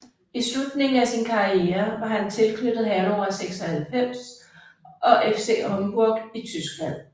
I slutningen af sin karriere var han tilknyttet Hannover 96 og FC Homburg i Tyskland